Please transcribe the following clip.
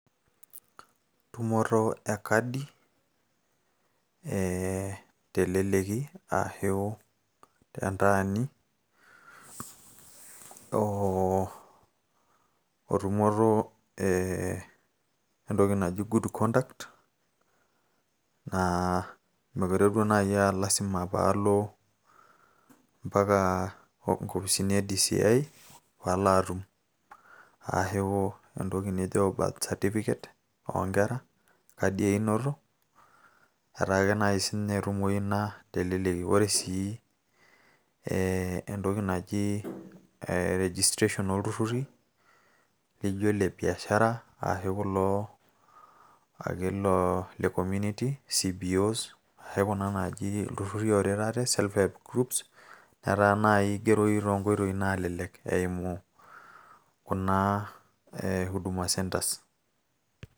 Tumoto enkadi eh teleleki ashu tentaani, oh otumoto eh entoki naji Good Conduct, naa mekure duo nai ah lasima palo ampaka inkopisini e DCI palo atum. Ashu entoki naijo birth certificate [ccs], onkera, enkadi einoto, etaa ake nai ketumoyu ina teleleki. Ore si nai entoki naji registration olturrurri, lijo lebiashara ashu kulo ake olo le community CBOs, ashu kuna naaji ilturrurri ooret ate, Self Help Group ,etaa nai kigeroyu tonkoitoii nalelek eimu naa Hudama Centres.